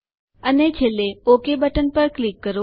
અને છેલ્લે okay button પર ક્લિક કરો